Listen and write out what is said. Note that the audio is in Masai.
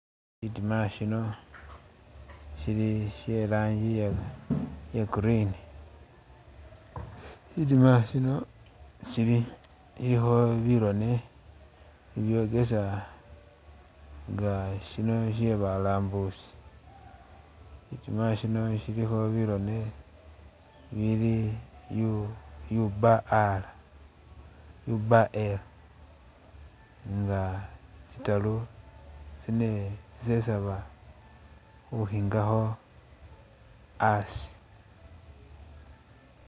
Shitiima shino shili she i'lanji iye green, shitiima shino sili silikho birone bibyokesa nga shino shye balambuzi, shitiima shino shilikho birone ibili U B R, U B L nga tsitaaru, tsine, tsisesaba khukhingakho asi.